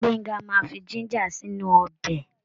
Gbenga máa fi jíńjà sínú ọbẹ̀.